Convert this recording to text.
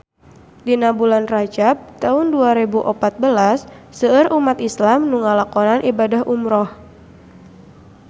Dina bulan Rajab taun dua rebu opat belas seueur umat islam nu ngalakonan ibadah umrah